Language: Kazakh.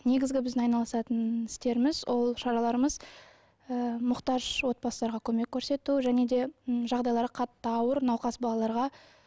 негізгі біздің айналысатын істеріміз ол шараларымыз ы мұқтаж отбасыларға көмек көрсету және де м жағдайлары қатты ауыр науқас балаларға